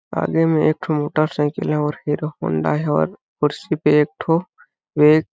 आगे में एक ठो मोटर साइकिल है और हीरो होंडा है और खुर्सी पे एक ठो एक--